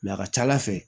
a ka ca ala fɛ